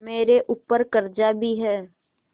मेरे ऊपर कर्जा भी है